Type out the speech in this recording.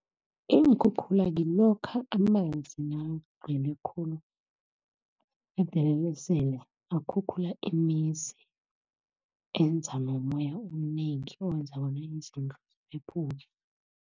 Iinkhukhula ngilokha amanzi nakagcwele khulu, esele akhukhula imizi, enza nomoya omnengi owenza bona izindlu ziphephuke.